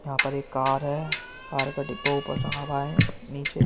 यहां पर एक कार है । कार का डिब्बा ऊपर रखावा है । नीचे --